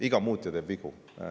Iga muutja teeb vigu.